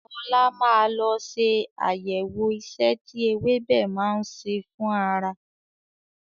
Ọlá máa lọ ṣe àyẹ̀wọ̀ ìṣe tí ewébẹ̀ náà ń ṣe fún ara.